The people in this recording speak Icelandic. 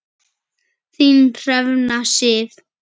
Þín Hrefna Sif.